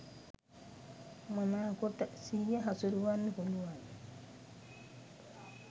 මනාකොට සිහිය හසුරුවන්න පුළුවන්.